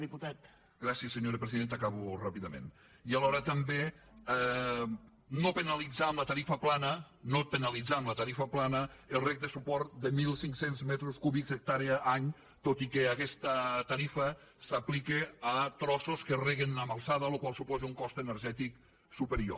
gràcies senyora presidenta acabo ràpidament i alhora també no penalitzar amb la tarifa plana no penalitzar amb la tarifa plana el reg de suport de mil cinc cents metres cúbics hectàrea any tot i que aquesta tarifa s’aplica a trossos que reguen en alçada la qual cosa suposa un cost energètic superior